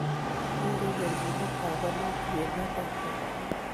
nyoru kelchinetab bolutik emetab Kongo